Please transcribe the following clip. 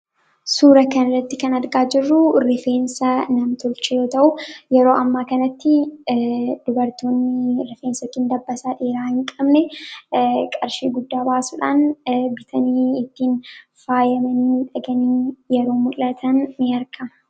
Suura kanarratti kan argaa jirru rifeensa nam-tolchee yoo ta'u, yeroo ammaa kanatti dubartoonni rifeensa yookiin dabbassaa dheeraa hin qabne, qarshii guddaa baasuudhaan bitanii ittiin faayamanii kani yeroo mul'atan ni argama.